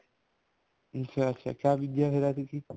ਅੱਛਾ ਅੱਛਾ ਕੀ ਬੀਜਿਆ ਐਤਕੀ